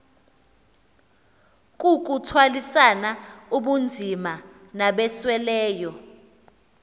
kukuthwalisana ubunzima nabasweleyo